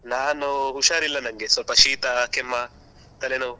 ನಾನು ಹುಷಾರಿಲ್ಲ ನನಗೆ ಸ್ವಲ್ಪ ಶೀತ ಕೆಮ್ಮ ತಲೆನೋವು.